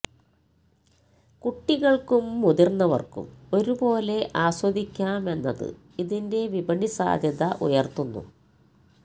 കുട്ടികള്ക്കും മുതിര്ന്നവര്ക്കും ഒരുപോലെ ആസ്വദിക്കാമെന്നത് ഇതിന്റെ വിപണി സാധ്യത ഉയര്ത്തുന്നു